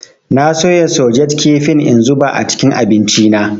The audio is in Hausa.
Na soya sosej kafin in zuba a cikin abinci na.